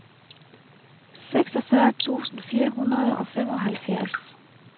seksogfyrre tusind fire hundrede og femoghalvfjerds